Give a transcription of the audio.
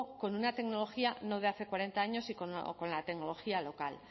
con una tecnología no de hace cuarenta años o con la tecnología local